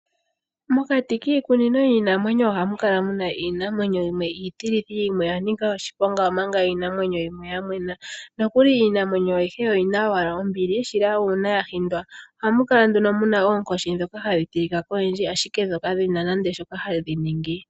Mokati kiikunino yiinamwenyo ohamu kala muna iinamwenyo yimwe iitilithi, yimwe oya nika oshiponga omanga iinamwenyo yimwe ya mwena, nokuli iinamwenyo ayihe oyina owala ombili shila uuna ya hindwa. Ohamu kala nduno muna oonkoshi ndhoka hadhi tilikwa koyindji ashike dho kadhina nande shoka hadhi ningi.